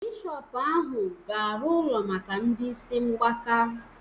Bishọpu ahụ ga-arụ ụlọ maka ndị isi mgbaka